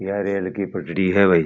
ये रेल की पटरी है भाई।